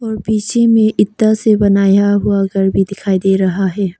और पीछे में ईटा से बनाया हुआ घर भी दिखाई दे रहा है।